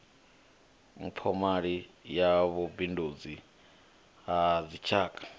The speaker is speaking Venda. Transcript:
mphomali ya vhubindudzi ha dzitshaka